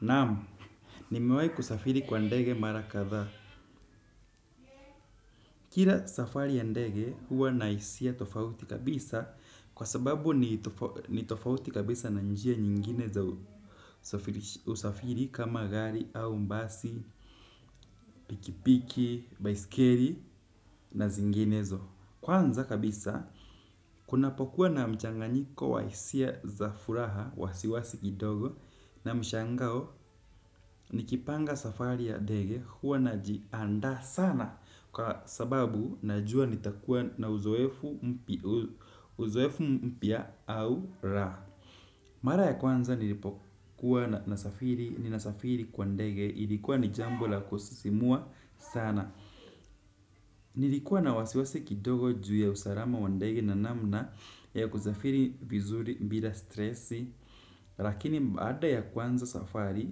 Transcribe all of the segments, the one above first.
Naam nimewahi kusafiri kwa ndege mara kadhaa. Kila safari ya ndege huwa na hisia tofauti kabisa kwa sababu ni tofauti kabisa na njia nyingine za usafiri. Usafiri kama gari au basi, pikipiki, baiskeli na zinginezo. Kwanza kabisa kunapokuwa na mchanganyiko wa hisia za furaha wasiwasi kidogo na mshangao nikipanga safari ya ndege huwa najianda sana kwa sababu najua nitakuwa na uzoefu mpya uzoefu mpya au raha. Mara ya kwanza nilipokuwa nasafiri, ninasafiri kwa ndege, ilikuwa ni jambo la kusisimua sana. Nilikuwa na wasiwasi kidogo juu ya usalama wa ndege na namna ya kusafiri vizuri bila stresi. Lakini baada ya kuanza safari,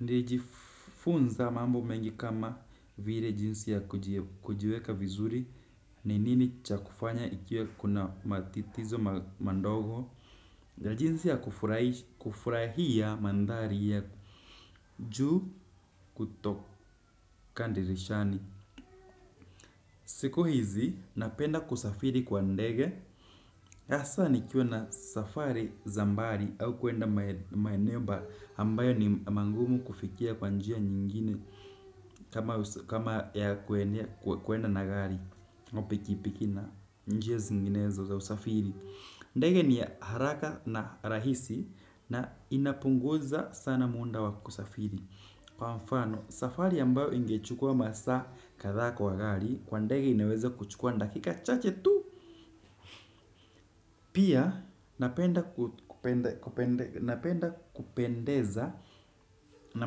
nilijifunza mambo mengi kama vile jinsi ya kujiweka vizuri, ni nini cha kufanya ikiwa kuna matitizo mandogo. Na jinsi ya kufurahi kufurahia mandhari ya juu kutoka dirishani. Siku hizi napenda kusafiri kwa ndege hasa nikiwa na safari za mbali au kwenda maeneo mba ambayo ni mangumu kufikia kwa njia nyingine kama ya kwenda na gari au pikipiki na njia zinginezo za usafiri. Ndege ni haraka na rahisi na inapunguza sana muda wa kusafiri. Kwa mfano, safari ambayo ingechukua masaa kadhaa kwa gari kwa ndege inaweza kuchukua dakika chache tu. Pia, napenda kupendeza na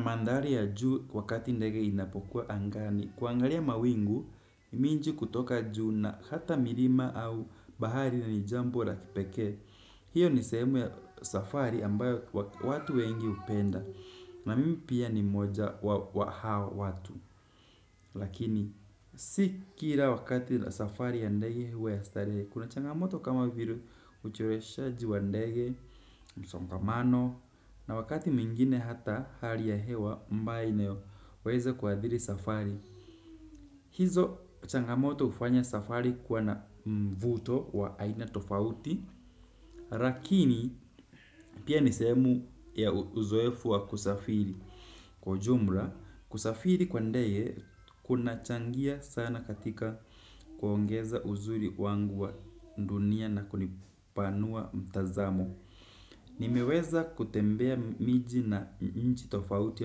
mandhari ya juu wakati ndege inapokuwa angani kuangalia mawingu, miji kutoka juu na hata milima au bahari na ni jambo la kipekee. Hiyo ni sehemu ya safari ambayo watu wengi hupenda na mimi pia ni mmoja wa hao watu. Lakini, si kila wakati safari ya ndege huwa ya starehe. Kuna changamoto kama vile ucheleweshaji wa ndege, msongamano na wakati mwingine hata hali ya hewa ambayo inayoweza kuathiri safari hizo changamoto hufanya safari kuwa na mvuto wa aina tofauti lakini, pia ni sehemu ya uzoefu wa kusafiri. Kwa ujumla, kusafiri kwa ndege kunachangia sana katika kuongeza uzuri wangu wa dunia na kunipanua mtazamo. Nimeweza kutembea miji na nchi tofauti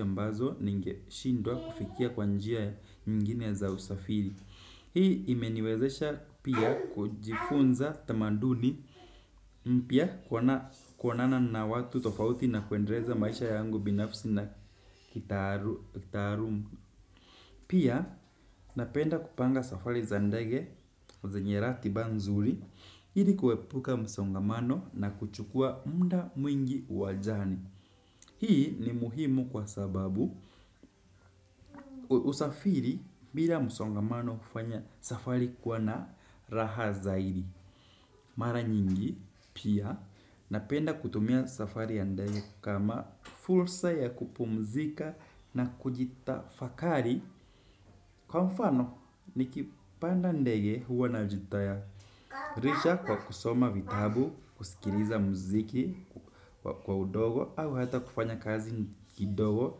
ambazo ningeshindwa kufikia kwa njia nyingine za usafiri hii imeniwezesha pia kujifunza tamaduni mpya kuona kuonana na watu tofauti na kuendeleza maisha yangu binafsi na kitaaluma pia napenda kupanga safari za ndege zenye ratiba nzuri ili kuepuka msongamano na kuchukua muda mwingi wa journey hii ni muhimu kwa sababu usafiri bila msongamano kufanya safari kuwa na raha zaidi mara nyingi pia napenda kutumia safari ya ndege kama fursa ya kupumzika na kujitafakari. Kwa mfano, nikipanda ndege huwa najitayarisha kwa kusoma vitabu, kusikiliza muziki kwa udogo au hata kufanya kazi kidogo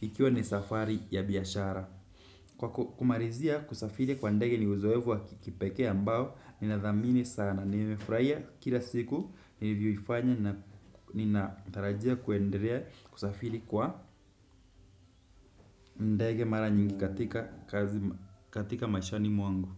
ikiwa ni safari ya biashara. Kwa kumalizia kusafiri kwa ndege ni uzoefu wa kipekee ambao, nina dhamini sana. Nimefurahia kila siku, nilivyoifanya na ninatarajia kuendelea kusafiri kwa ndege mara nyingi katika kazi katika maishani mwangu.